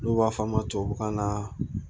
N'u b'a f'a ma tubabukan na